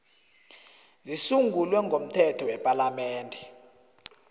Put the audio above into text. zisungulwe ngomthetho wepalamende